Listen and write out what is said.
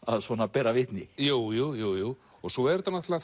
bera vitni jú jú jú jú svo er þetta